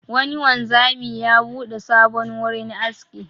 Wani wanzami ya buɗe sabon wurin aski.